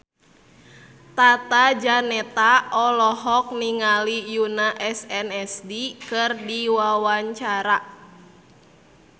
Tata Janeta olohok ningali Yoona SNSD keur diwawancara